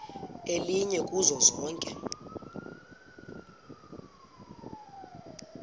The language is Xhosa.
elinye kuzo zonke